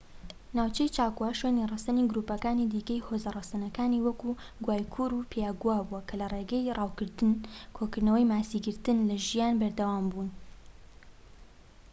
ناوچەی چاکۆ شوێنی ڕەسەنی گرووپەکانی دیکەی هۆزە ڕەسەنەکانی وەک گوایکورو و پایاگوا بوو کە لە ڕێگەی ڕاوکردن کۆکردنەوە ماسیگرتنە لە ژیان بەردەوام بوون